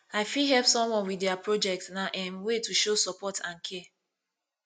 i fit help someone with dia project na um way to show support and care